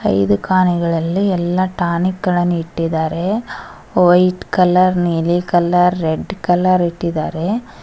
ಈ ದುಖಾನಿಗಳಲ್ಲಿ ಎಲ್ಲ ಟಾನಿಕ್ ಗಳನ್ನು ಇಟ್ಟಿದ್ದಾರೆ ವೈಟ್ ಕಲರ್ ನೀಲಿ ಕಲರ್ ರೆಡ್ ಕಲರ್ ಇಟ್ಟಿದಾರೆ.